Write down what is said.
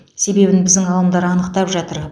себебін біздің ғалымдар анықтап жатыр